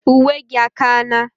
Uwe gi akana?